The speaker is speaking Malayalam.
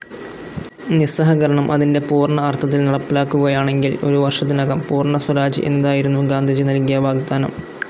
നിസ്സഹകരണം അതിൻ്റെ പൂർണ്ണ അർത്ഥത്തിൽ നടപ്പിലാക്കുകയാണെങ്കിൽ ഒരു വർഷത്തിനകം പൂർണ്ണ സ്വരാജ് എന്നതായിരുന്നു ഗാന്ധിജി നൽകിയ വാഗ്ദാനം.